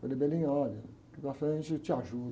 Falei, olha, daqui para frente eu te ajudo